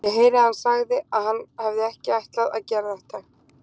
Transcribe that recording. Ég heyrði að hann sagði að hann hefði ekki ætlað að gera þetta.